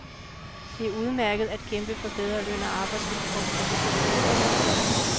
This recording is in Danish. Det er udmærket at kæmpe for bedre løn og arbejdsvilkår på beskyttede værksteder.